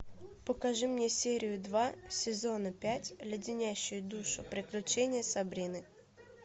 покажи мне серию два сезона пять леденящие душу приключения сабрины